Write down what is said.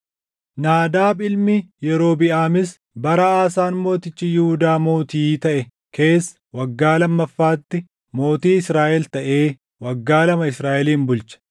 Naadaab ilmi Yerobiʼaamis bara Aasaan mootichi Yihuudaa mootii taʼe keessa waggaa lammaffaatti mootii Israaʼel taʼee waggaa lama Israaʼelin bulche.